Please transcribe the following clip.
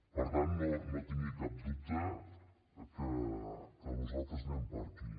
per tant no tingui cap dubte que nosaltres anem per aquí